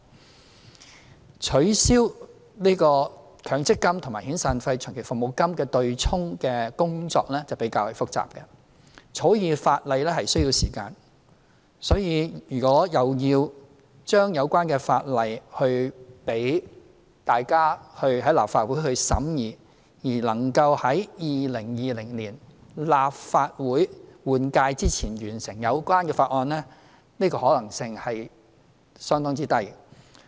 至於取消強制性公積金與遣散費和長期服務金對沖的工作就比較複雜，草擬法例需要時間，所以如果要將有關法例提交立法會審議，而能夠在2020年立法會換屆前完成有關法案審議工作的話，這個可能性是相當之低。